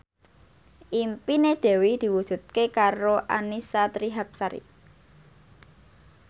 impine Dewi diwujudke karo Annisa Trihapsari